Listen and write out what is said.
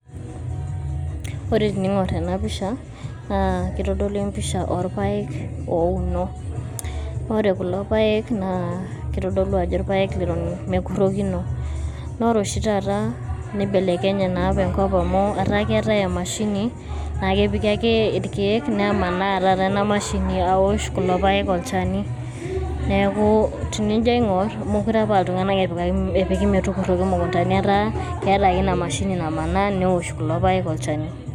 Ore teniing'orr ena pisha naa kitodolu empisha orpaek ouno, ore kulo paek naa kitodolu ajo irpaek leton mekurrokino naa ore oshi taata neibelekenye naa oshi taata enkop amu etaa keetai emashini naa ekepiki ake irkeek nemanaa taata ina mashini aosh kulo paek olchani. Neeku tenijo aing'orr meekure apa aa iltung'anak epiki metukurroki imukuntan, etaa keetai ake ina mashini namanaa neosh kulo paek olchani.